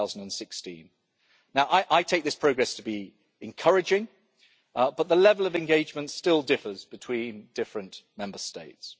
2016. Now I take this progress to be encouraging, but the level of engagement still differs between different Member States.